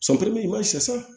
i b'a